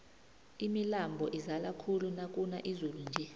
imilambo izala khulu nakuna izulu nje